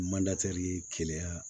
Mantɛri keleya